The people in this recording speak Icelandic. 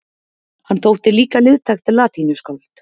Hann þótti líka liðtækt latínuskáld.